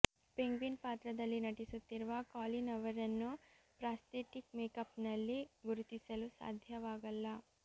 penguin ಪಾತ್ರದಲ್ಲಿ ನಟಿಸುತ್ತಿರುವ Colin ಅವರನ್ನು ಪ್ರಾಸ್ಥೆಟಿಕ್ ಮೇಕಪ್ನಲ್ಲಿ ಗುರುತಿಸಲು ಸಾಧ್ಯವಾಗಲ್ಲ